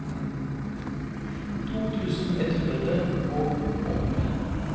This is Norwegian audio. to tusen ett hundre og åtte